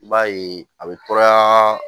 I b'a ye a bɛ tɔɔrɔyaa